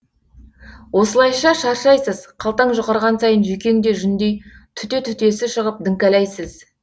осылайша шаршайсыз қалтаң жұқарған сайын жүйкең де жүндей түте түтесі шығып діңкәлайсыз